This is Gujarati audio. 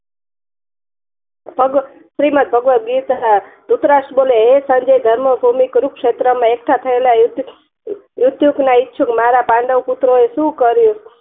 શ્રી મત ભગવત ગીતા ધ્રુતરાસ બોલે હે સંજય જન્મભૂમિ કુરુક્ષેત્ર માં એકઠા થયેલા મૃતયુક ના ઇછુક મારા પાંડવ પુત્ર શું કર્યું